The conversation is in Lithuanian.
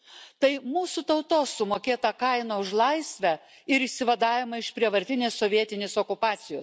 Tai mūsų tautos sumokėta kaina už laisvę ir išsivadavimą iš prievartinės sovietinės okupacijos.